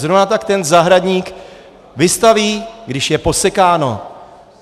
Zrovna tak ten zahradník vystaví, když je posekáno.